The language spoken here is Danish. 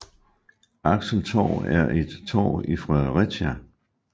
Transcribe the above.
Axeltorv er et torv i Fredericia